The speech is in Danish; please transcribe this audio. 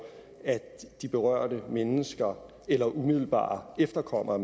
at de berørte mennesker eller umiddelbare efterkommere